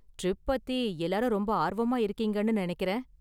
Trip பத்தி எல்லாரும் ரொம்ப ஆர்வமா இருக்கீங்கனு நினைக்கிறேன்.